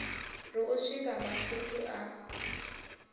ri u swika masutu a